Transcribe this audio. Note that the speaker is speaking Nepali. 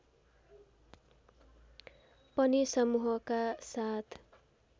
पनि समूहका साथ